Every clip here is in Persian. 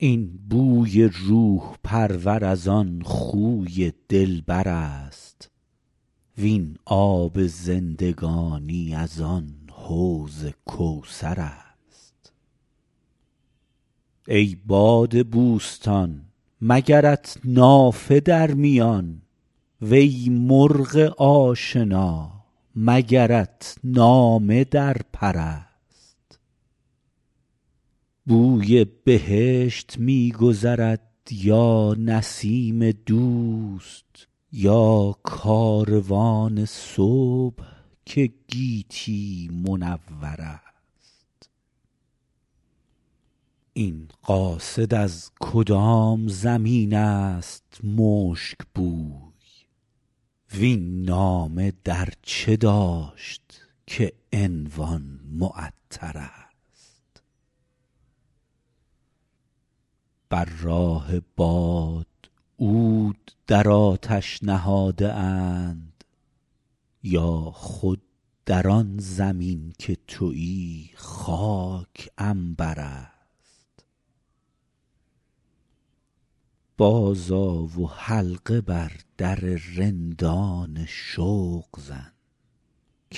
این بوی روح پرور از آن خوی دلبر است وین آب زندگانی از آن حوض کوثر است ای باد بوستان مگرت نافه در میان وی مرغ آشنا مگرت نامه در پر است بوی بهشت می گذرد یا نسیم دوست یا کاروان صبح که گیتی منور است این قاصد از کدام زمین است مشک بوی وین نامه در چه داشت که عنوان معطرست بر راه باد عود در آتش نهاده اند یا خود در آن زمین که تویی خاک عنبر است بازآ و حلقه بر در رندان شوق زن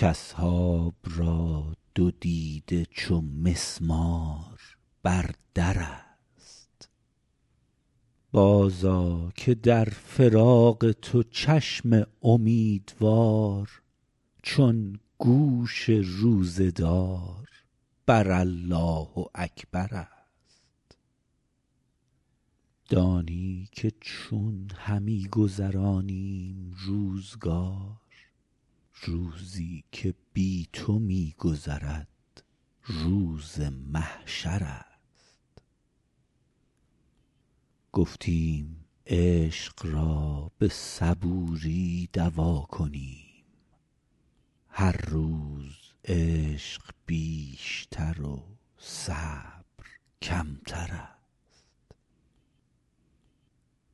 کاصحاب را دو دیده چو مسمار بر در است بازآ که در فراق تو چشم امیدوار چون گوش روزه دار بر الله اکبر است دانی که چون همی گذرانیم روزگار روزی که بی تو می گذرد روز محشر است گفتیم عشق را به صبوری دوا کنیم هر روز عشق بیشتر و صبر کمتر است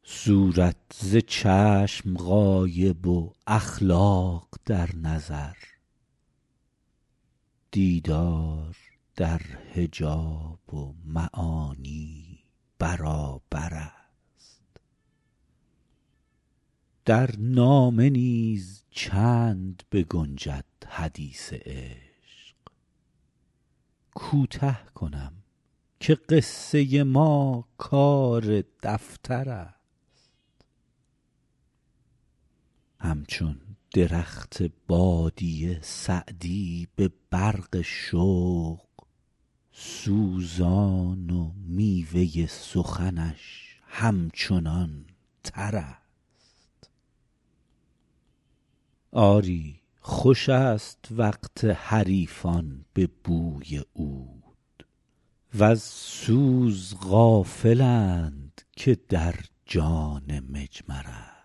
صورت ز چشم غایب و اخلاق در نظر دیدار در حجاب و معانی برابر است در نامه نیز چند بگنجد حدیث عشق کوته کنم که قصه ما کار دفتر است همچون درخت بادیه سعدی به برق شوق سوزان و میوه سخنش همچنان تر است آری خوش است وقت حریفان به بوی عود وز سوز غافلند که در جان مجمر است